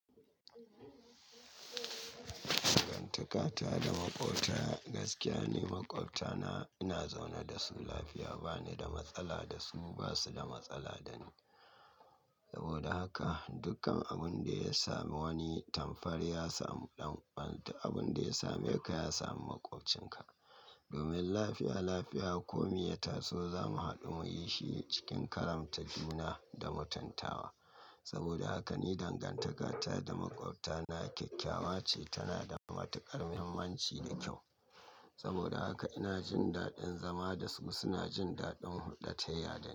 Dangantaka ta da maƙwabta gaskiya ni. Maƙwabta na ina zaune da su, lafiya. Ba ni da matsala da su, ba su da matsala da ni. Saboda haka dukkan abin da ya sami wani, tamkar ya samu ɗan. Abin da ya same ka, ya sami maƙwabcinka. Abin da ya same ka, ya sami maƙwabcinka. Saboda haka ni dangantaka ta da maƙwabta na kyakkyawa ce. Tana da matuƙar muhimmanci da kyau. Saboda haka ina jin daɗin zama da su. Su na jin daɗin hulɗa ta ya da ni.